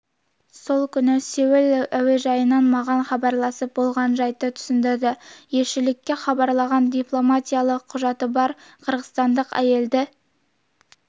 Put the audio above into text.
сол күні сеул әуежайынан маған хабарласып болған жайтты түсіндірді елшілікке хабарлағаны дипломатиялық құжаты бар қырғызстандық әйелді